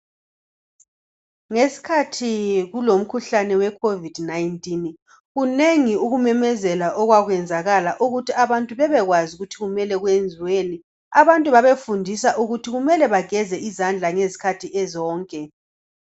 Ngesikhathi kulomkhuhlane weCovid19,kunengi ukumemezela okwakwenzakala ukuthi abantu bebekwazi ukuthi kumele kwenziweni. Abantu babefundiswa ukuthi kumele bageze izandla ngezikhathi zonke.